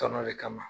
Tɔnɔ le kama